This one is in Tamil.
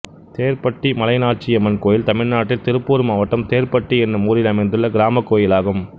தேர்ப்பட்டி மலைநாச்சியம்மன் கோயில் தமிழ்நாட்டில் திருப்பூர் மாவட்டம் தேர்ப்பட்டி என்னும் ஊரில் அமைந்துள்ள கிராமக் கோயிலாகும்